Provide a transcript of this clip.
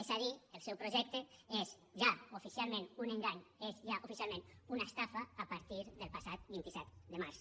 és a dir el seu projecte és ja oficialment un engany és ja oficialment una estafa a partir del passat vint set de març